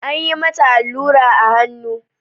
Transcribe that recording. Anyi mata allura a hannu.